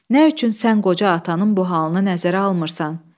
Nə üçün sən qoca atanın bu halını nəzərə almırsan?"